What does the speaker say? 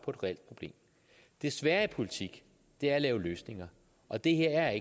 reelt problem det svære i politik er at lave løsninger og det her er